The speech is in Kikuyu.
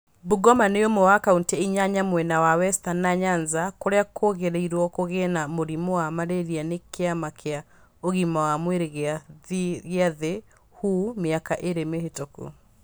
Bungoma nĩ ũmwe wa kaunti inyanya mwena wa Western na Nyanza kũrĩa kũgĩrĩirwo kũgĩe na mũrimũ wa malaria nĩ Kĩama kĩa Ũgima wa Mwĩrĩ gĩa Thĩ WHO mĩaka ĩĩrĩ mĩhĩtũku.